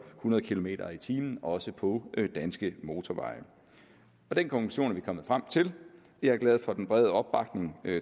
hundrede kilometer per time også på danske motorveje den konklusion er vi kommet frem til jeg er glad for den brede opbakning